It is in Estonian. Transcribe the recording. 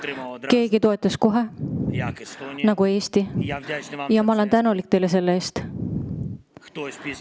Mõni toetas kohe, nagu Eesti, ja ma olen teile selle eest tänulik.